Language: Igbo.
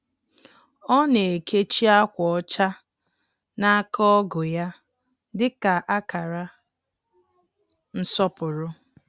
Ọ na-ekechi akwa ọcha n’aka ọgu ya dị ka akara nsọpụrụ.